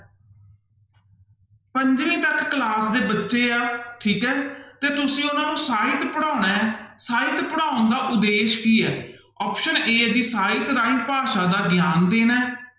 ਪੰਜਵੀਂ ਤੱਕ class ਦੇ ਬੱਚੇ ਹੈ ਠੀਕ ਹੈ ਤੇ ਤੁਸੀਂ ਉਹਨਾਂ ਨੂੰ ਸਾਹਿਤ ਪੜ੍ਹਾਉਣਾ ਹੈ ਸਾਹਿਤ ਪੜ੍ਹਾਉਣ ਦਾ ਉਦੇਸ਼ ਕੀ ਹੈ option a ਹੈ ਜੀ ਸਾਹਿਤ ਰਾਹੀਂ ਭਾਸ਼ਾ ਦਾ ਗਿਆਨ ਦੇਣਾ ਹੈ